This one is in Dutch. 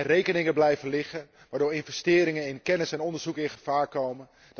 Rekeningen blijven liggen, waardoor investeringen in kennis en onderzoek in gevaar komen.